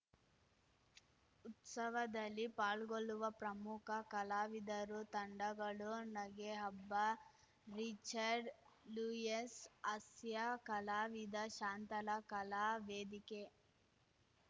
ಉತ್ಸವದಲ್ಲಿ ಪಾಲ್ಗೊಳ್ಳುವ ಪ್ರಮುಖ ಕಲಾವಿದರುತಂಡಗಳು ನಗೆಹಬ್ಬರಿಚರ್ಡ್‌ ಲೂಯಸ್‌ ಹಾಸ್ಯ ಕಲಾವಿದ ಶಾಂತಲಾ ಕಲಾ ವೇದಿಕೆ